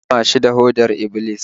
An kama shi da hodar Iblis